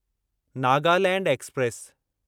Nagaland express